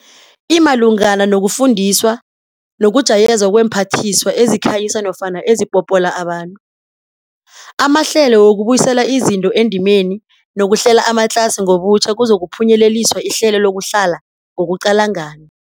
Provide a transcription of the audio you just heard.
Imalungana nokufundiswa nokujayezwa kweemphathiswa ezikhanyisa nofana ezipopola abantu, amahlelo wokubuyisela izinto endimeni nokuhlela amatlasi ngobutjha kuzokuphunyeleliswa ihlelo lokuhlala ngokuqalangana.